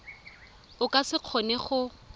o ka se kgone go